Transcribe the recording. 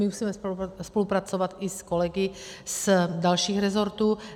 My musíme spolupracovat i s kolegy z dalších rezortů.